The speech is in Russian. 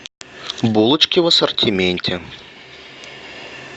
булочки в ассортименте